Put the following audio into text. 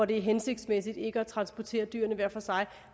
det er hensigtsmæssigt ikke at transportere dyrene hver for sig